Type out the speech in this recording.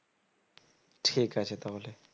ঠিক আছে তাহলে